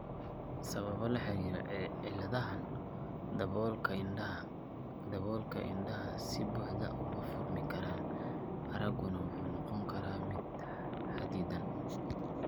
Sababo la xiriira cilladahaan daboolka indhaha, daboolka indhaha si buuxda uma furmi karaan, aragguna wuxuu noqon karaa mid xaddidan.